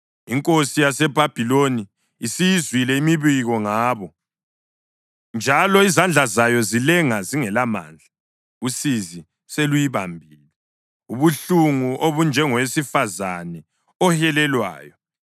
INkosi yaseBhabhiloni isiyizwile imibiko ngabo, njalo izandla zayo zilenga zingelamandla. Usizi seluyibambile, ubuhlungu obunjengowesifazane ohelelwayo.